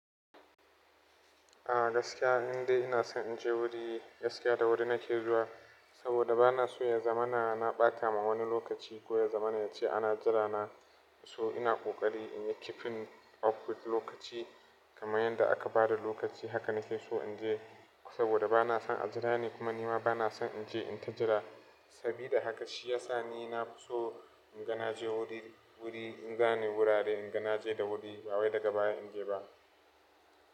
A gaskiya inda ina son in je wuri, gaskiya da wuri nake zuwa saboda bana so ya zamana na ɓata ma wani lokaci ko ya zamana ya ci ana jira na. So ina ƙoƙari in yi keeping up with lokaci kamar yanda aka bada lokaci haka nake so in je saboda bana son a jira ni kuma ni ma bana son in je in ta jira. Sabida haka shi ya sa ni na fi so in ga na je wuri, wuri in gane wurare in ga na je da wuri, ba wai daga baya in je ba.